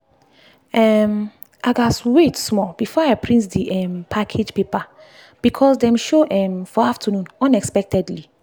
um i gatz wait small before i print the um package paper because dem show um for afternoon unexpectedly